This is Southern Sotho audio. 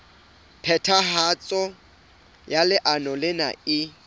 phethahatso ya leano lena e